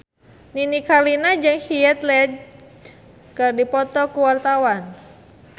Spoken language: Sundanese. Nini Carlina jeung Heath Ledger keur dipoto ku wartawan